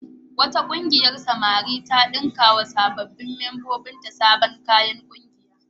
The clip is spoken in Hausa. Wata ƙungiyar samari ta ɗinkawa sabbin mambobinta sabon kayan ƙungiya.